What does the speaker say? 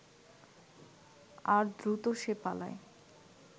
আর দ্রুত সে পালায়